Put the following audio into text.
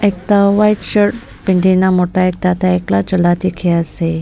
ekta white shirt pehendi na mota ekta tai akela chola dikhi ase.